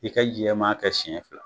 I ka jɛman kɛ siɲɛ fila.